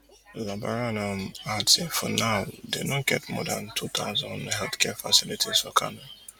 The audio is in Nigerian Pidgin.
labaran um add say for now dey get more dan two thousand healthcare facilities for kano